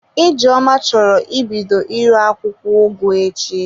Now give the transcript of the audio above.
Ijeoma choro ibido ire akwụkwọ ugu echi.